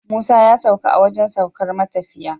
Musa ya sauka a wajan saukar matafiya